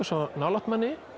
svo nálægt manni